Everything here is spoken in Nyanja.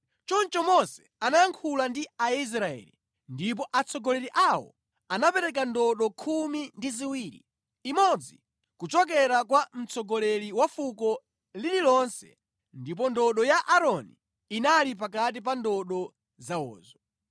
Choncho Mose anayankhula ndi Aisraeli, ndipo atsogoleri awo anapereka ndodo khumi ndi ziwiri, imodzi kuchokera kwa mtsogoleri wa fuko lililonse ndipo ndodo ya Aaroni inali pakati pa ndodo zawozo.